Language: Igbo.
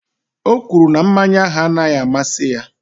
O kwuru na mmanya ahụ anaghị amasị ya.